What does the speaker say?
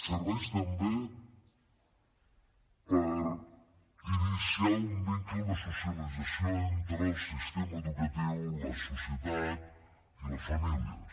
serveix també per iniciar un vincle de socialització entre el sistema educatiu la societat i les famílies